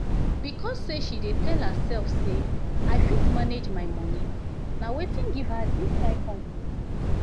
because say she dey tell herself say "i fit manage my moni" na wetin give her dis kind confidence